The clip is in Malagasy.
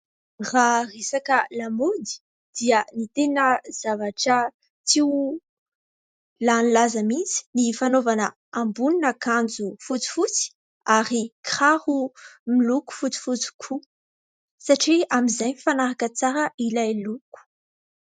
Raha resaka lamaody dia ny tena zavatra tsy ho lany laza mihintsy ny fanaovana ambonin'ny akanjo fotsy fotsy ary kiraro miloko fotsy fotsy koa satria amin'izay mifanaraka tsara ilay loko.